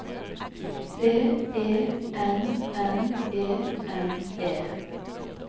V E N N E N E